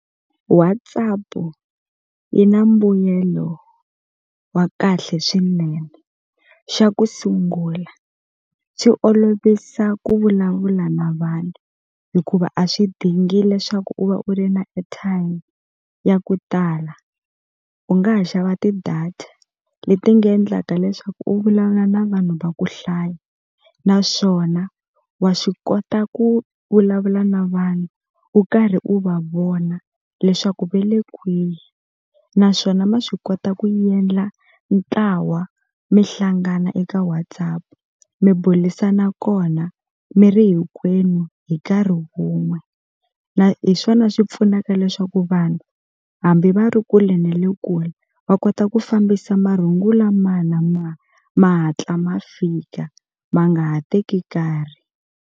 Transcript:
WhatsApp-u yi na mbuyelo wa kahle swinene xa ku sungula swi olovisa ku vulavula na vanhu hikuva a swi dingi leswaku u va u ri na airtime ya ku tala u nga ha xava ti-data leti nga endlaka leswaku u vulavula na vanhu va ku hlaya naswona wa swi kota ku vulavula na vanhu u karhi u va vona leswaku ve le kwihi naswona ma swi kota ku endla ntlawa mi hlangana eka WhatsApp mi bulisana kona mi ri hinkwenu hi nkarhi wun'we na hi swona swi pfunaka leswaku vanhu hambi va ri kule na le kule va kota ku fambisa marungula mahi na mahi ma hatla ma fika ma nga ha teki nkarhi.